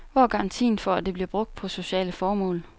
Hvor er garantien for, at det bliver brugt på sociale formål.